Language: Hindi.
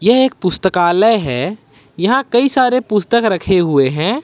यह एक पुस्तकालय है यहां कई सारे पुस्तक रखे हुए हैं।